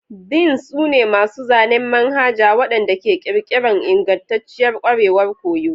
Deans su ne masu zanen Manhaja waɗanda ke ƙirƙira ingantacciyar ƙwarewar koyo.